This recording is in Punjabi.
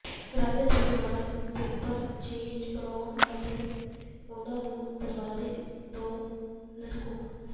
ਰੰਗ ਦੇ ਥੀਮ ਨਾਲ ਪੇਪਰ ਚੇਨਜ਼ ਬਣਾਉ ਅਤੇ ਉਨ੍ਹਾਂ ਨੂੰ ਦਰਵਾਜ਼ੇ ਤੋਂ ਲਟਕੋ